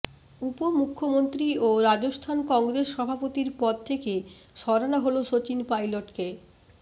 উপমুখ্যমন্ত্রী ও রাজস্থান কংগ্রেস সভাপতির পদ থেকে সরানো হল শচীন পাইলটকে